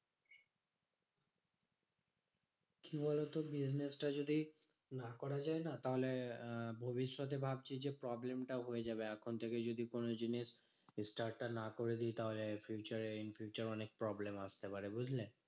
কি বলতো business টা যদি দাঁড় করা যায় না? তাহলে আহ ভবিষ্যতে ভাবছি যে problem টাও হয়ে যাবে এখন থেকেই যদি কোনো জিনিস start টা না করে দিই তাহলে future এ in future এ অনেক problem আসতে পারে, বুঝলে?